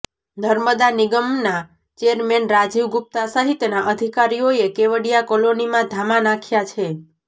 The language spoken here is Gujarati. નર્મદા નિગમના ચેરમેન રાજીવ ગુપ્તા સહિતના અિધકારીઓએ કેવડિયા કોલોનીમાં ધામા નાંખ્યા છે